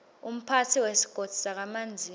umphatsi wesigodzi sakamanzini